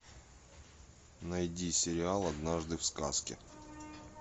найди сериал однажды в сказке